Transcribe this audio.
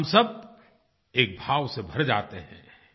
हम सब एक भाव से भर जाते हैं